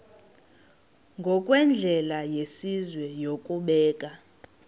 ngokwendlela yesizwe yokubeka